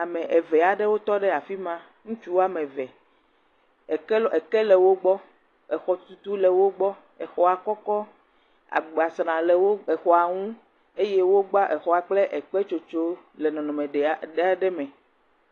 Ame eve aɖewo tɔ ɖe afi ma. Ŋutsu wɔme eve eke lɔ eke le wo gbɔ. Exɔtutu le wo gbɔ. Exɔa kɔkɔ, agbasra le wo exɔa ŋu eye wogba exɔa kple ekpetsotso le nɔnɔme ɖe aɖe ame.